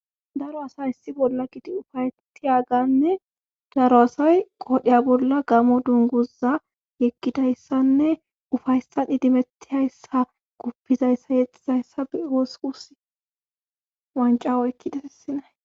Daro asay issi bolla kiti ufayetiyaganne daro asay qoodhiya bolla gamo dunguza yekkidayssanne ufayssan idimettihayssa guppizayssa yexizayssa be wosqus wancawo ekkidasissinay